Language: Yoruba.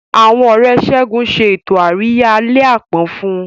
Àwọn Ọ̀rẹ́ Segun ṣe ètò àríyá àlẹ́ àpọ́n fún un.